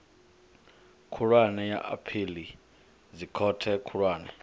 khulwane ya aphili dzikhothe khulwane